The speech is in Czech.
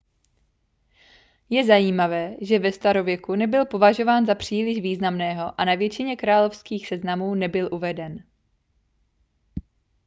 je zajímavé že ve starověku nebyl považován za příliš významného a na většině královských seznamů nebyl uveden